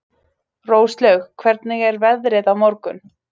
Róslaug, hvernig er veðrið á morgun?